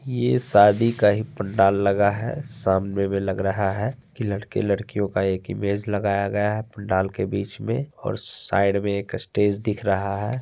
ये शादी का ही पंडाल लगा है सामने मे लग रहा है के लड़के लड़कियों का एक इमेज लगाया गया है| पंडाल के बीच मे और साइड मे एक स्टेज दिख रहा है।